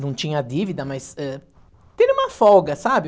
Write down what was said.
Não tinha dívida, mas, ãh... Ter uma folga, sabe?